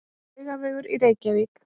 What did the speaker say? Laugavegur í Reykjavík.